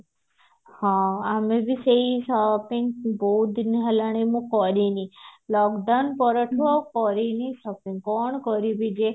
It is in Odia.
ହଁ ଆମେ ବି ସେଇ shopping ବହୁତ ଦିନ ହେଲାଣି ମୁଁ କରିନି lockdown ପରଠୁ ମୁଁ ଆଉ କରିନି shopping କଣ କରିବି ଯେ